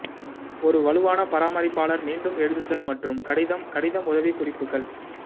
ஒரு வலுவான பராமரிப்பாளர் மீண்டும் எழுதுதல் மற்றும் கடிதம் கடிதம் உதவிக்குறிப்புகள்